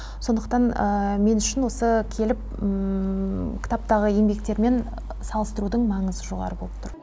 сондықтан мен үшін осы келіп кітаптағы еңбектермен салыстырудың маңызы жоғары болып тұр